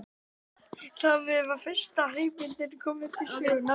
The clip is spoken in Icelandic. Þar með var fyrsta hreyfimyndin komin til sögunnar.